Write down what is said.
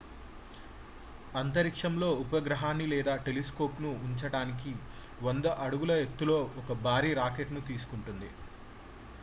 అంతరిక్షంలో ఉపగ్రహాన్ని లేదా టెలిస్కోప్ ను ఉంచటానికి 100 అడుగుల ఎత్తులో ఒక భారీ రాకెట్ ను తీసుకుంటుంది